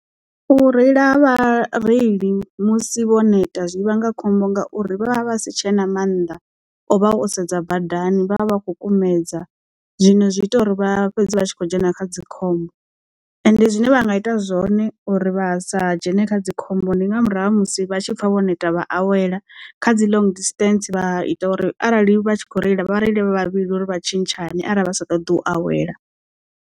U reila ha vhareili musi vho neta zwi vhanga khombo ngauri vha vha vha si tshe na mannḓa o vha o sedza badani vha vha vha khou kumedza. Zwino zwi ita uri vha fhedze vha tshi khou dzhena kha dzikhombo, ende zwine vha nga ita zwone uri vha sa dzhene kha dzi khombo nga murahu ha musi vha tshi pfha vho neta vha awele kha dzi long distance vha ita uri arali vha tshi kho reila vha reile vhavhili uri vha tshintshane arali vha sa ṱoḓi u awela.